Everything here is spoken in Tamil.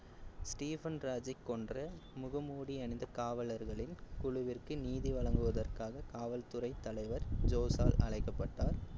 ஸ்டீபன் ராஜை கொன்ற முகமூடி அணிந்த காவலர்களின் குழுவிற்கு நீதி வழங்குவதற்காக காவல் துறை தலைவர் ஜோஸால் அழைக்கப்பட்டார்.